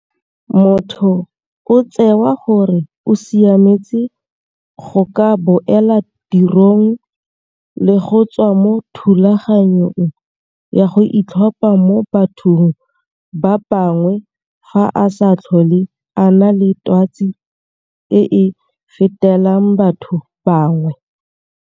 Motho o tsewa gore o siametse go ka boela tirong le go tswa mo thulaganyong ya go itlhopha mo bathong ba bangwe fa a sa tlhole a na le twatsi e e fetelang batho ba bangwe.